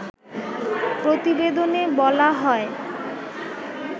প্রতিবেদনে বলা হয়